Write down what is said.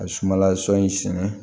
A ye sumala sɔ in sɛnɛ